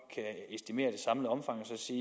se